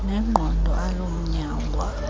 nengqondo aloo mnyangwa